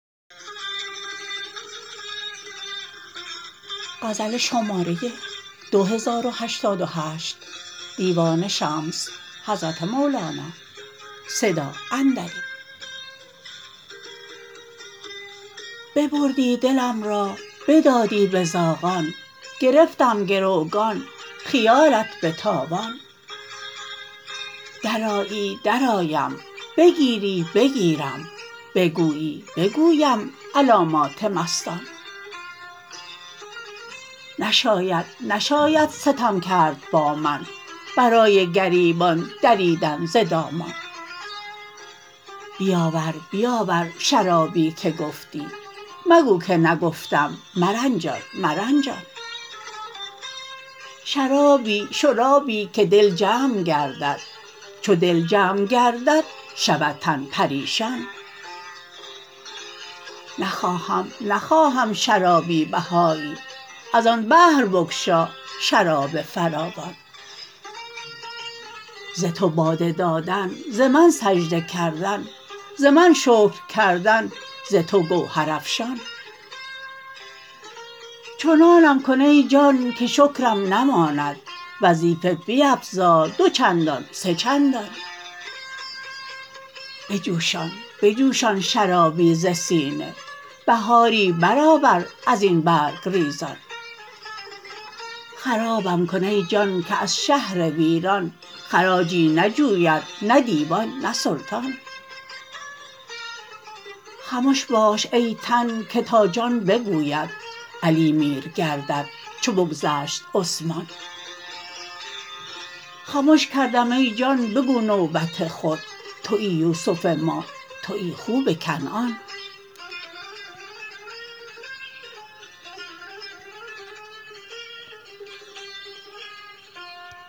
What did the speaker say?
ببردی دلم را بدادی به زاغان گرفتم گروگان خیالت به تاوان درآیی درآیم بگیری بگیرم بگویی بگویم علامات مستان نشاید نشاید ستم کرد با من برای گریبان دریدن ز دامان بیاور بیاور شرابی که گفتی مگو که نگفتم مرنجان مرنجان شرابی شرابی که دل جمع گردد چو دل جمع گردد شود تن پریشان نخواهم نخواهم شرابی بهایی از آن بحر بگشا شراب فراوان ز تو باده دادن ز من سجده کردن ز من شکر کردن ز تو گوهرافشان چنانم کن ای جان که شکرم نماند وظیفه بیفزا دو چندان سه چندان بجوشان بجوشان شرابی ز سینه بهاری برآور از این برگ ریزان خرابم کن ای جان که از شهر ویران خراجی نجوید نه دیوان نه سلطان خمش باش ای تن که تا جان بگوید علی میر گردد چو بگذشت عثمان خمش کردم ای جان بگو نوبت خود توی یوسف ما توی خوب کنعان